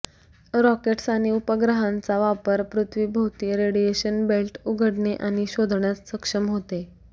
rockets आणि उपग्रहांचा वापर पृथ्वीभोवती रेडिएशन बेल्ट उघडणे आणि शोधण्यास सक्षम होते